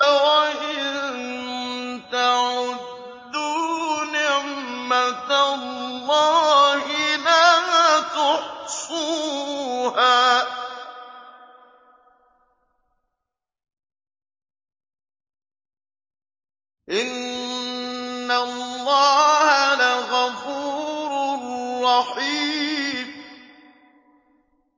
وَإِن تَعُدُّوا نِعْمَةَ اللَّهِ لَا تُحْصُوهَا ۗ إِنَّ اللَّهَ لَغَفُورٌ رَّحِيمٌ